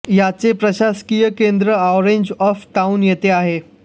याचे प्रशासकीय केन्द्र ऑरेंज वॉक टाउन येथे आहे